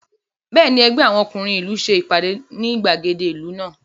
Bẹ́ẹ̀ni, ẹgbẹ́ àwọn ọkúnrin ìlú ṣe ìpàdé ní ìgbàgede ìlú lánàá